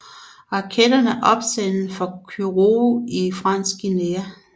Raketterne opsendes fra Kourou i Fransk Guyana